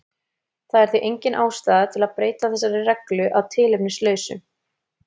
Það er því engin ástæða til að breyta þessari reglu að tilefnislausu.